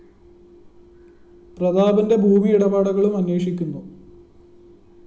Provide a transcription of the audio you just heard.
പ്രതാപന്റെ ഭൂമി ഇടപാടുകളും അന്വേഷിക്കുന്നു